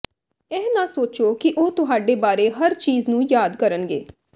ਇਹ ਨਾ ਸੋਚੋ ਕਿ ਉਹ ਤੁਹਾਡੇ ਬਾਰੇ ਹਰ ਚੀਜ਼ ਨੂੰ ਯਾਦ ਕਰਨਗੇ